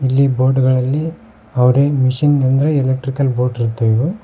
ಇಲ್ಲಿ ಬೋಟ್ ಗಳಲ್ಲಿ ಅವರೇ ಮಿಷನ್ ಅಂದ್ರೆ ಎಲೆಕ್ಟ್ರಿಕಲ್ ಬೋಟ್ ಇರ್ತವೆ ಇವು.